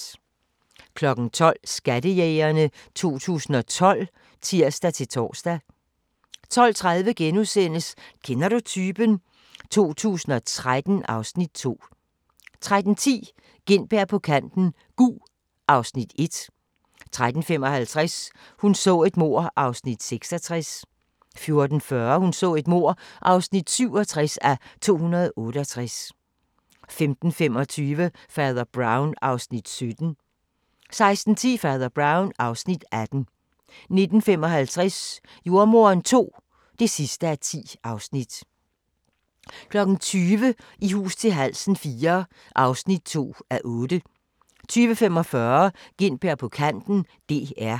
12:00: Skattejægerne 2012 (tir-tor) 12:30: Kender du typen? 2013 (Afs. 2) 13:10: Gintberg på kanten - Gug (Afs. 1) 13:55: Hun så et mord (66:268) 14:40: Hun så et mord (67:268) 15:25: Fader Brown (Afs. 17) 16:10: Fader Brown (Afs. 18) 16:55: Jordemoderen II (10:10) 20:00: I hus til halsen IV (2:8) 20:45: Gintberg på kanten - DR